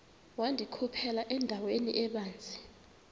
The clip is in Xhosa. wandikhuphela endaweni ebanzi